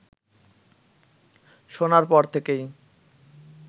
শোনার পর থেকেই